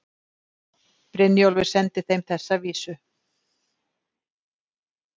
Brynjólfur sendi þeim þessa vísu